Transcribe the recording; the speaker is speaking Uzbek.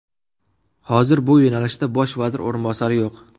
Hozir bu yo‘nalishda bosh vazir o‘rinbosari yo‘q.